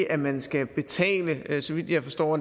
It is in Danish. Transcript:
at man skal betale så vidt jeg forstår